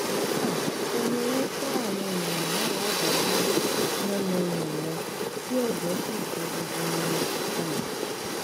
um ṣe ni wọn ṣa àwọn èèyàn náà ládàá lórí yánnayànna tí ẹjẹ sì bo gbogbo wọn um